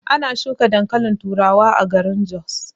Ana shuka dankalin turawa a garin jos.